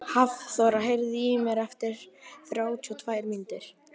Hafþóra, heyrðu í mér eftir þrjátíu og tvær mínútur.